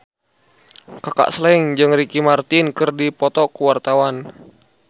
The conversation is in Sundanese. Kaka Slank jeung Ricky Martin keur dipoto ku wartawan